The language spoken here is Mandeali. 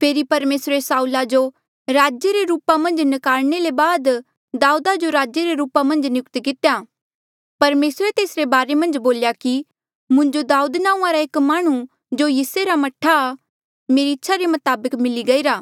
फेरी परमेसरे साऊला जो राजे रे रूपा मन्झ न्कारने ले बाद दाऊदा जो राजे रे रूपा मन्झ नियुक्त कितेया परमेसरे तेसरे बारे मन्झ बोल्या कि मुंजो दाऊद नांऊंआं रा एक माह्णुं जो यिसै रा मह्ठा आ मेरी इच्छा रे मताबक मिली गईरा